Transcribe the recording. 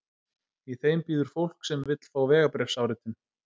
Í þeim bíður fólk sem vill fá vegabréfsáritun.